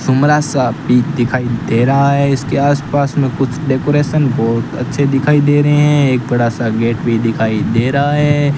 सुमरा सा भी दिखाई दे रहा है इसके आस पास में कुछ डेकोरेशन बोहोत अच्छे दिखाई दे रहे हैं एक बड़ा सा गेट भी दिखाई दे रहा है।